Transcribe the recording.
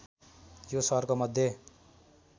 यो सहरको मध्य